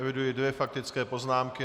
Eviduji dvě faktické poznámky.